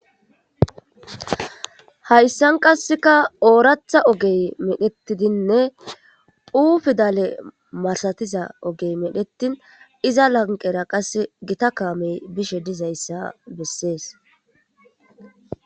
hayssan qasseka ooratha ogey medhettidinne hu pidale marsatiza ogey medhetin iza lanqera qas gita kaamey bishe dizayssa bessees